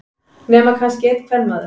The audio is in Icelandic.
Nema kannski einn kvenmaður.